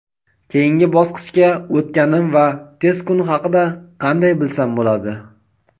Keyingi bosqichga o‘tganim va test kuni haqida qanday bilsam bo‘ladi?.